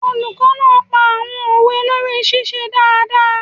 Olùkọ́ náà pa àwọn òwe lórí ṣíṣe dáadáa